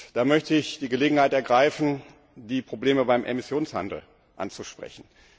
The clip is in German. Da möchte ich die Gelegenheit ergreifen, die Probleme beim Emissionshandel anzusprechen.